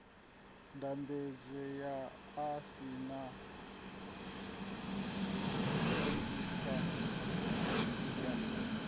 ndambedzo u saina konṱiraka ya